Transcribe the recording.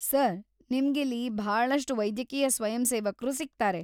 Sir, ನಿಮ್ಗಿಲ್ಲಿ ಭಾಳಷ್ಟ್‌ ವೈದ್ಯಕೀಯ ಸ್ವಯಂಸೇವಕ್ರು ಸಿಗ್ತಾರೆ.